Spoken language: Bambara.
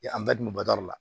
an bɛɛ dun bɛ bɔ da la